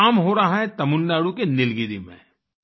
ये काम हो रहा है तमिलनाडु के नीलगिरी में